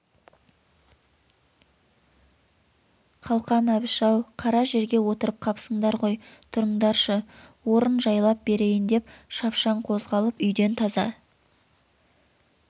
қалқам әбіш-ау қара жерге отырып қапсындар ғой тұрыңдаршы орын жайлап берейін деп шапшаң қозғалып үйден таза